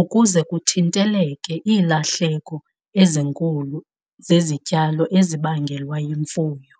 ukuze kuthinteleke iilahleko ezinkulu zezityalo ezibangelwa yimfuyo.